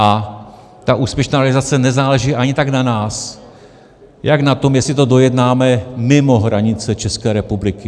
A ta úspěšná realizace nezáleží ani tak na nás jako na tom, jestli to dojednáme mimo hranice České republiky.